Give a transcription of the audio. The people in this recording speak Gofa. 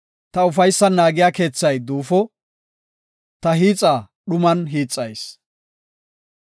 Ta ufaysan naagiya keethay duufo; ta hiixa dhuman hiixayis.